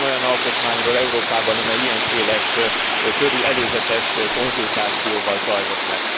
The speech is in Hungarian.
Tud e Ön olyan alkotmányról Európában, amely ilyen széleskörű előzetes konzultációval zajlott le?